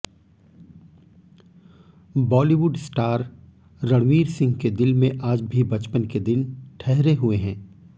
Bollywood star Ranveer Singh के दिल में आज भी बचपन के दिन ठहरे हुए हैं